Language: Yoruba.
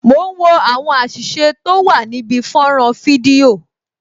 Mo ń wo àwọn àṣìṣe tó wà níbi fọ́nrán fídíò